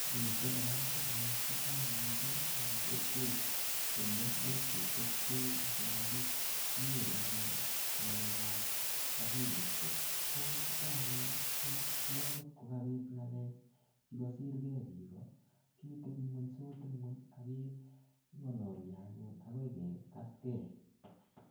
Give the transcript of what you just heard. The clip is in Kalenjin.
Miten oratunwek chechang missing eng kokwet ole much ketepte asimakinyoru anyun ng'alekap akilisiek. Ko chuton anyun, ko ku agot kokabit ng'alek chekasirkei biik ko, ketebung'uny sot ing'uny akeng'alalio anyun akoi kekaskei.